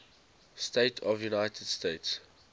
states of the united states